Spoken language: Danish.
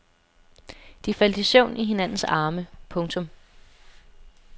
De faldt i søvn i hinandens arme. punktum